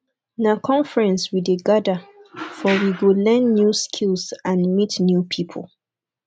na conference we dey gather for we go learn new skills and meet new people